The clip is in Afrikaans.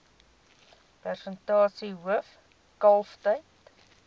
persentasie hoof kalftyd